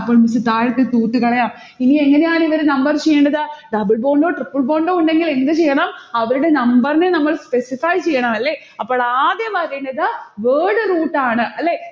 അപ്പൊ miss താഴത്തെ roots കളയാം. ഇനി എങ്ങനെയാണിവരെ number ചെയ്യേണ്ടത്. double bondtripple bond ഓ ഉണ്ടെങ്കിൽ എന്ത് ചെയ്യണം? അവരുടെ number നെ നമ്മൾ specify ചെയ്യണം അല്ലെ. അപ്പോൾ ആദ്യം വരേണ്ടത് word root ആണ്. അല്ലെ